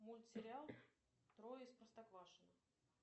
мультсериал трое из простоквашино